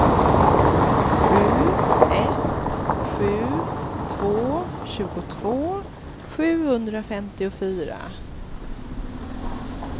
sju ett sju två tjugotvå sjuhundrafemtiofyra